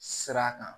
Sira kan